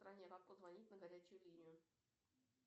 позвонить на горячую линию